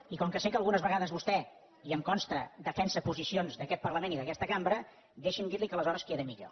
i com que sé que algunes vegades vostè i em consta defensa posicions d’aquest parlament i d’aquesta cambra deixi’m dir li que aleshores queda millor